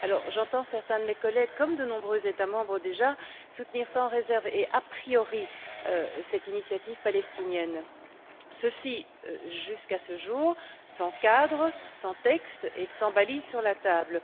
J'entends certains de mes collègues, comme de nombreux États membres, déjà, soutenir sans réserve et a priori cette initiative palestinienne, jusqu'à ce jour sans cadre, sans texte et sans balises sur la table.